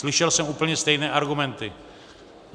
Slyšel jsem úplně stejné argumenty.